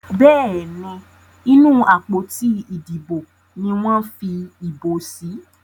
Béèni inú àpótí Ìdìbò ní wón fí ibo sí.